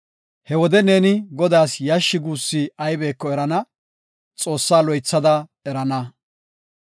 He wode neeni Godaas yashshi guussi aybeko erana; Xoossaa loythada erana.